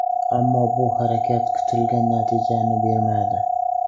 Ammo, bu harakat kutilgan natijani bermadi.